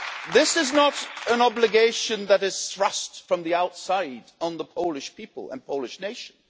This is not an obligation that has been thrust from the outside on the Polish people and Polish nation.